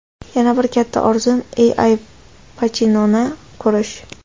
Yana bir katta orzum – Al Pachinoni ko‘rish.